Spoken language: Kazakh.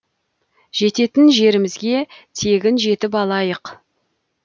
жететін жерімізге тегін жетіп алдық